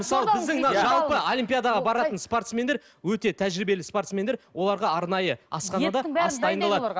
мысалы біздің мына жалпы олимпиадаға баратын спортсмендер өте тәжірбиелі спортсмендер оларға арнайы асханада ас дайындалады